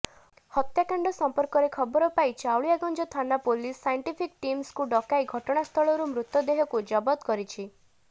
ହତ୍ୟାକାଣ୍ଡ ସମ୍ପର୍କରେ ଖବର ପାଇ ଚାଉଳିଆଗଞ୍ଜ ଥାନା ପୁଲିସ୍ ସାଇଣ୍ଟିଫିକ୍ ଟିମ୍କୁ ଡକାଇ ଘଟଣାସ୍ଥଳରୁ ମୃତଦେହକୁ ଜବତ କରିଛି